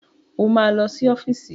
O máa lọ sí ọ́fíìsì.